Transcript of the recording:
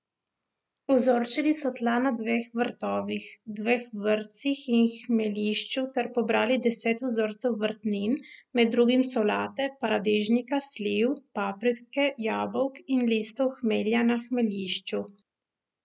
Vzorčili so tla na dveh vrtovih, dveh vrtcih in hmeljišču ter pobrali deset vzorcev vrtnin, med drugim solate, paradižnika, sliv, paprike, jabolk in listov hmelja na hmeljišču.